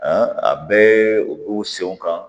a bɛɛ u b'u senw kan